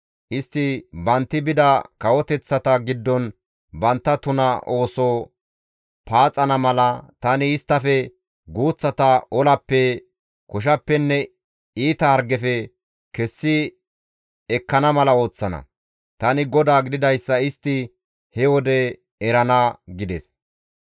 Istti bantti bida kawoteththata giddon bantta tuna ooso paaxana mala, tani isttafe guuththata olappe, koshappenne iita hargefe kessi ekkana mala ooththana. Tani GODAA gididayssa istti he wode erana» gides.